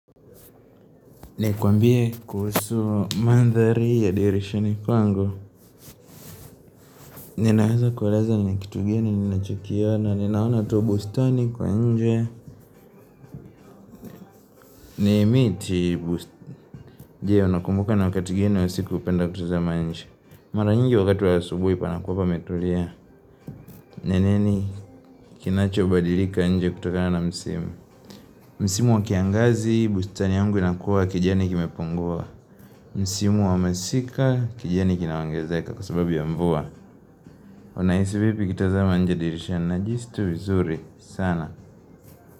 Nikwambie kuhusu mandhari ya dirishani kwangu? Ninaeza kueleza ni kitu gani ninachokiona ninaona tu bustani kwa nje. Ni miti bustani. Jee unakumbuka na wakati gani wa siku upenda kutuza manj. Mara nyingi wakati wa asubuhi panakuwa pametulia. Neneni kinacho badilika nje kutokana na msimu. Msimu wa kiangazi bustani yangu inakuwa kijani kimepungua. Msimu wa masika kijani kina ongezeka kwa sababu ya mvua. Unaisi vipi ukitazama nje dirishani najiisi tu vizuri sana.